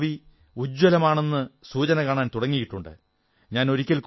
ഫുട്ബോളിന്റെ ഭാവി ഉജ്ജ്വലമാണെന്ന് സൂചന കാണാൻ തുടങ്ങിയിട്ടുണ്ട്